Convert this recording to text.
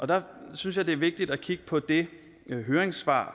der synes jeg det er vigtigt at kigge på det høringssvar